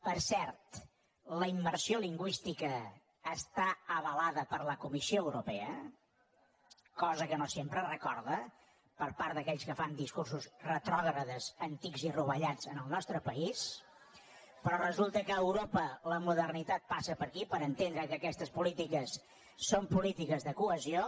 per cert la immersió lingüística està avalada per la comissió europea cosa que no sempre es recorda per part d’aquells que fan discursos retrògrads antics i rovellats en el nostre país la modernitat passa per aquí per entendre’ns que aquestes polítiques són polítiques de cohesió